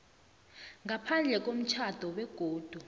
ngaphandle komtjhado begodu